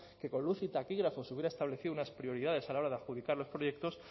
que con luz y taquígrafos hubiera establecido unas prioridades a la hora de adjudicar los proyectos